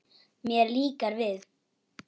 Mér líkar við